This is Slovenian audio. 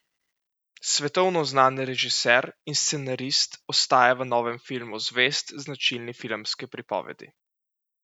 Svetovno znani režiser in scenarist ostaja v novem filmu zvest značilni filmski pripovedi.